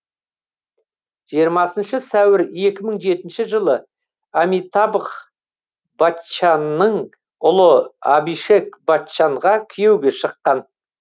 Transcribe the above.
жиырмасыншы сәуір екі мың жетінші жылы амитабх баччанның ұлы абишек баччанға күйеуге шыққан